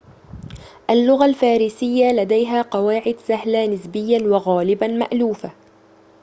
اللغة الفارسية لديها قواعد سهلة نسبياً وغالباً مألوفة